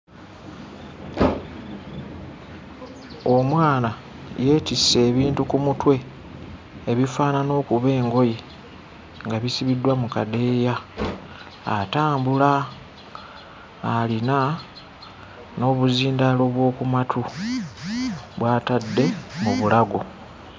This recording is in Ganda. Omwana yeetisse ebintu ku mutwe ebifaanana okuba engoye nga bisibiddwa mu kadeeya atambula alina n'obuzindaalo bw'oku matu bw'atadde mu bulago.